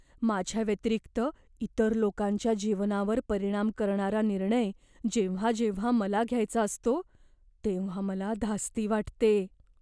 माझ्याव्यतिरिक्त इतर लोकांच्या जीवनावर परिणाम करणारा निर्णय जेव्हा जेव्हा मला घ्यायचा असतो, तेव्हा मला धास्ती वाटते.